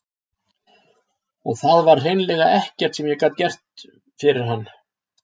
Og það var hreinlega ekkert sem ég gat fyrir hann gert.